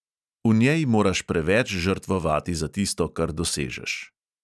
V njej moraš preveč žrtvovati za tisto, kar dosežeš.